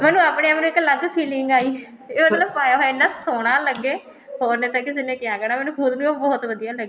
ਮੈਨੂੰ ਆਪਣੇ ਆਪ ਨੂੰ ਇੱਕ ਅਲੱਗ feeling ਆਈ ਤੇ ਮਤਲਬ ਪਾਇਆ ਹੋਇਆ ਇੰਨਾ ਸੋਹਣਾ ਲੱਗੇ ਹੋਰ ਤਾਂ ਕਿਸੇ ਨੇ ਕਿਆ ਕਹਿਣਾ ਮੈਨੂੰ ਖੁਦ ਨੂੰ ਬਹੁਤ ਵਧੀਆ